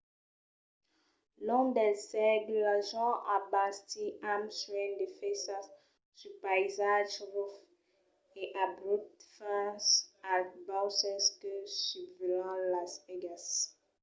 long dels sègles las gents an bastit amb suènh de faissas sul païsatge rufe e abrupte fins als bauces que susvelhan las aigas